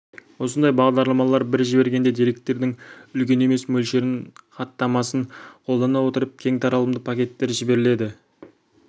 осындай бағдарламалар бір жібергенде деректердің үлкен емес мөлшерін хаттамасын қолдана отырып кең таралымды пакеттер жіберіледі